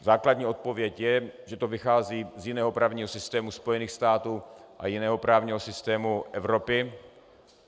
Základní odpověď je, že to vychází z jiného právního systému Spojených států a jiného právního systému Evropy.